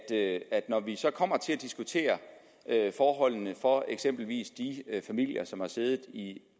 at at når vi så kommer til at diskutere forholdene for eksempelvis de familier som har siddet i